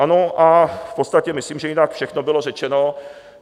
Ano, a v podstatě myslím, že jinak všechno bylo řečeno.